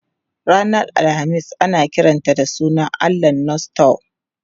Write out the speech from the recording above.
Ranar Alhamis ana kiranta da sunan allahn Norse Thor.